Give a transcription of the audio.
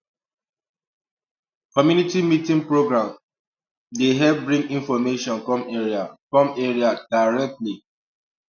community meeting program um dey help bring information come area come area directly